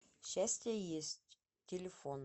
счастье есть телефон